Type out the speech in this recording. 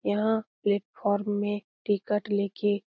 यहाँ प्लेटफार्म में टिकट लेके --